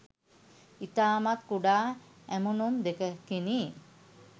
ඉතාමත් කුඩා ඇමුණුම් 2කිනි.